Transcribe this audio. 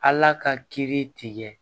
Ala ka kiiri tigɛ